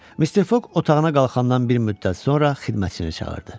Mister Foq otağına qalxandan bir müddət sonra xidmətçisini çağırdı.